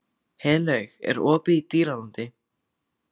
Heiðlaug, er opið í Dýralandi?